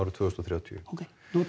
tvö þúsund og þrjátíu ókei